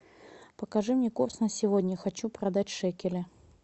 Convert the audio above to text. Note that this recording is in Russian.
покажи мне курс на сегодня хочу продать шекели